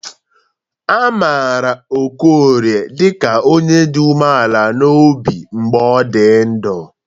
A maara Okorie dịka onye dị umeala n'obi mgbe ọ dị ndụ.